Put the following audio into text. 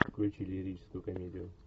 включи лирическую комедию